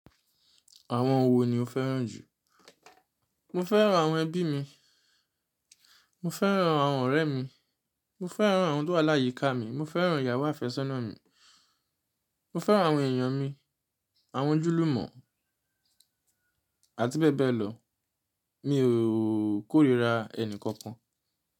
Àwọn wo ni o fẹ́ràn jù? Mo fẹ́ràn àwọn ẹbí mi, mo fẹ́ràn àwọn ọ̀rẹ́ mi, mo fẹ́ràn àwọn tó wà láyíká mi, mo fẹ́ràn ìyàwó àfẹ́sọ́nà mi, mo fẹ́ràn àwọn èèyàn mi, àwọn ojúlùmọ̀, àti bẹ́ẹ̀ bẹ́ẹ̀ lọ. Mi ò kórira ẹnì kankan.